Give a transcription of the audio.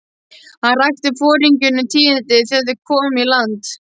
Hann rakti foringjunum tíðindin þegar þeir komu í land.